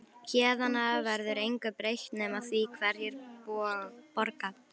Héðan af verður engu breytt nema því hverjir borga.